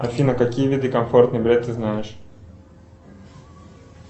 афина какие виды комфортный билет ты знаешь